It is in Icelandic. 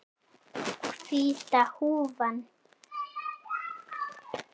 Hvíta húfan.